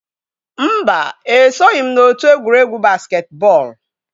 Mba, esoghị m n'otu egwuregwu basketball.